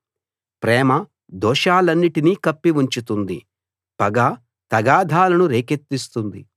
ప్రేమ దోషాలన్నిటినీ కప్పి ఉంచుతుంది పగ తగాదాలను రేకెత్తిస్తుంది